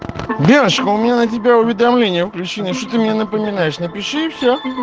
девушка у меня на тебя уведомление включено что ты мне напоминаешь напиши и все